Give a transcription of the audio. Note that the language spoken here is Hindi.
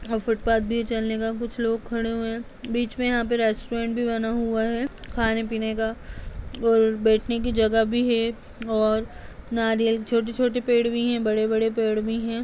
और फुटपाथ भी है चलने का। कुछ लोग खड़े हुए हैं। बीच में यहाँ पे रेस्टोरेंट भी बना हुआ है खाने पीने का और बैठने की जगह भी है और नारियल छोटे-छोटे पेड़ भी हैं और बड़े-बड़े पेड़ भी हैं।